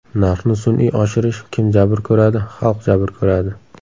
Narxni sun’iy oshirish kim jabr ko‘radi xalq jabr ko‘radi.